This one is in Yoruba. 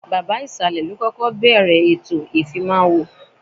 Baba ìsàlẹ̀ ló kọ́kọ́ bẹ̀ẹ̀rẹ̀ ètò ìfimáwo